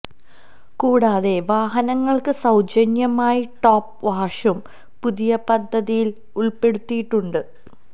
കൂടാതെ വാഹനങ്ങൾക്ക് സൌജന്യമായി ടോപ്പ് വാഷും പുതിയ പദ്ധതിയിൽ ഉൾപ്പെടുത്തിയിട്ടുണ്ട്